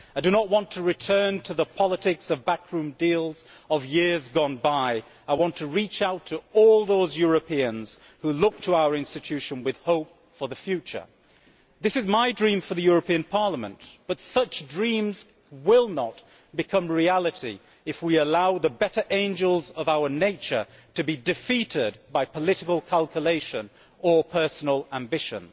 I do not want to return to the politics of backroom deals of years gone by, I want to reach out to all those Europeans who look to our institution with hope for the future. This is my dream for the European Parliament, but such dreams will not become reality if we allow the better angels of our nature to be defeated by political calculation or personal ambition.